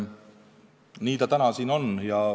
Nii see täna siin on.